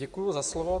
Děkuji za slovo.